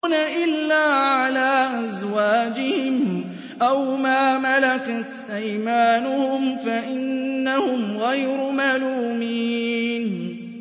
إِلَّا عَلَىٰ أَزْوَاجِهِمْ أَوْ مَا مَلَكَتْ أَيْمَانُهُمْ فَإِنَّهُمْ غَيْرُ مَلُومِينَ